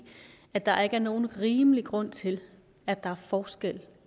at der ikke er nogen rimelig grund til at der er forskel